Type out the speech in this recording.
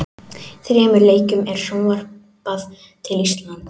Þremur leikjum er sjónvarpað til Íslands.